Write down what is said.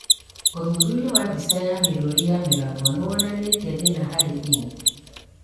ũthuthuria wa mbica ya mĩrũri ya mĩgambo nĩwonanĩtie thĩna harĩ ini